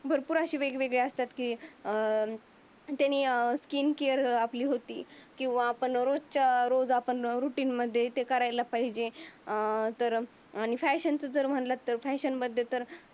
भरपूर वेगवेगळी अशी असतात की अं त्याने स्किन केअर आपली होती. कारण आपण रोजच्या रोज रुटीन मध्ये ते करायला पाहिजे. अं तर फॅशनचे जर मनल फॅशन बदल तर